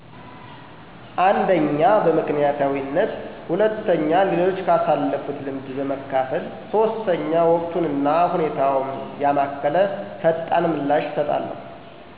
አንደኛ በምክንያታዊነት ሁለተኛ ሌሎች ካሳለፉት ልምድ በመካፈል ሶስተኛ ወቅቱን እና ሁኔታውን ያማከለ ፈጣን ምላሽ እሰጣለሁ።